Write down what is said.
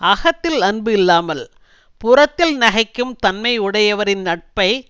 அகத்தில் அன்பு இல்லாமல் புறத்தில் நகைக்கும் தன்மை உடையவரின் நட்பை